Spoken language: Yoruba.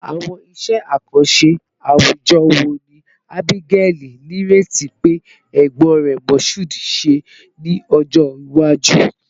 Awọn iṣẹ akanṣe awujọ wo ni Abigaili nireti pe egbon rẹ Mashood, ṣe ni ọjọ iwaju?